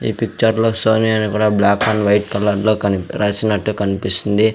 ఈ పిక్చర్ లో సోనీ అని కూడా బ్లాక్ అండ్ వైట్ కలర్లో కని రాసినట్టు కన్పిస్తుంది.